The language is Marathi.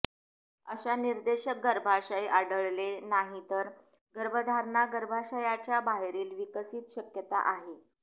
अशा निर्देशक गर्भाशय आढळले नाहीत तर गर्भधारणा गर्भाशयाच्या बाहेरील विकसित शक्यता आहे